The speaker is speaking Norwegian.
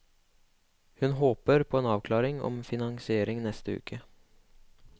Hun håper på en avklaring om finansiering neste uke.